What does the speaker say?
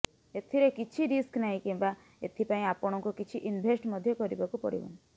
ଏଥିରେ କିଛି ରିସ୍କ ନାହିଁ କିମ୍ବା ଏଥିପାଇଁ ଆପଣଙ୍କୁ କିଛି ଇନଭେଷ୍ଟ ମଧ୍ୟ କରିବାକୁ ପଡିବନି